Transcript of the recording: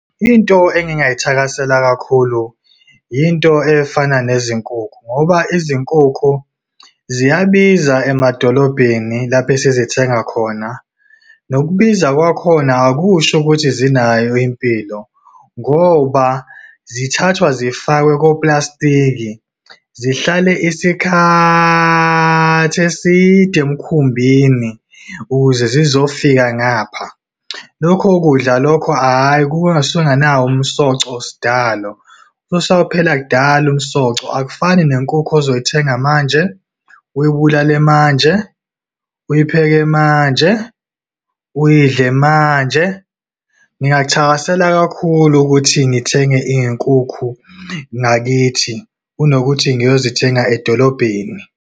Into engingayithakasela kakhulu, into efana nezinkukhu, ngoba izinkukhu ziyabiza emadolobheni, lapho esizithenga khona. Nokubiza kwakhona akusho ukuthi zinayo impilo, ngoba zithathwa zifakwe koplastiki, zihlale isikhathi eside emkhumbini ukuze zizofika ngapha. Lokho kudla lokho, hhayi, kusuke kunganawo umsoco, sidalo. Usuwaphelaphela kudala umsoco. Akufani nenkukhu ozoyithenga manje, uyibulale manje, uyipheke manje, uyidle manje. Ngingakuthakasela kakhulu ukuthi ngithenge iy'nkukhu ngakithi, kunokuthi ngiyozithenga edolobheni.